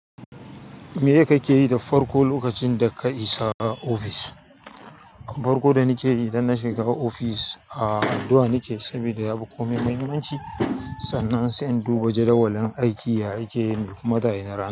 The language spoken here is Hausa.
Meye kake yi da farko lokacin da ka isa office. Farko da nake yi idan na shiga ofis addu'a nake, saboda ya fi komai muhimmanci. Sannan sai in duba jadawalin aiki yaya yake mai kuma da ai na ra.